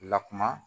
Lakuma